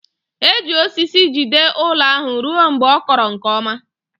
E ji osisi jide ụlọ ahụ ruo mgbe ọ kọrọ nke ọma